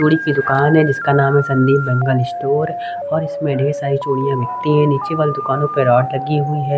चूड़ी की दुकान है जिसका नाम है संदीप बैंगल स्टोर और इसमें ढेर सारी चूड़ियां बिकती है। नीचे वाले दुकानों पे लगी हुई है।